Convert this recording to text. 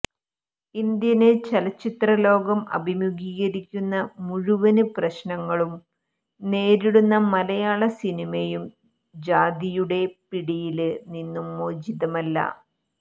Indian ചലച്ചിത്രലോകം അഭിമൂഖീകരിക്കുന്ന മുഴുവന് പ്രശ്നങ്ങളും നേരിടുന്ന മലയാളസിനിമയും ജാതിയുടെ പിടിയില് നിന്നും മോചിതമല്ല